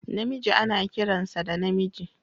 Namiji ana kiransa da namiji